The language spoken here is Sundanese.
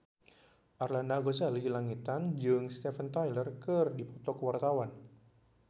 Arlanda Ghazali Langitan jeung Steven Tyler keur dipoto ku wartawan